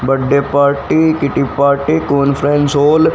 birthday party kitty party conference hall --